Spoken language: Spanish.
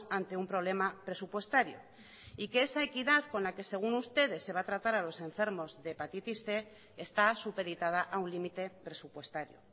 ante un problema presupuestario y que esa equidad con la que según ustedes se va a tratar a los enfermos de hepatitis cien está supeditada a un límite presupuestario